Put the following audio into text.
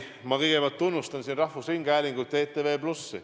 Ma kõigepealt tunnustan siin rahvusringhäälingut ja ETV+.